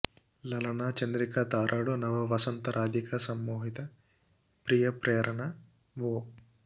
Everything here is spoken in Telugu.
లలనా చంద్రికల తారాడు నవ వసంత రాధికా సమ్మోహిత ప్రియ ప్రేరణవో